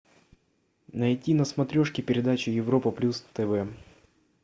найти на смотрешке передачу европа плюс тв